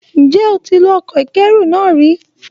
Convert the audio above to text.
Ǹjjẹ́ o ti lo ọkọ̀ ìkẹ́ru náà ri?